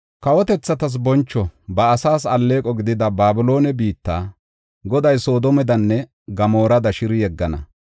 Kawotethatas boncho, ba asaas alleeqo gidida Babiloone biitta, Goday Sodoomedanne Gamoorada shiri yeggana.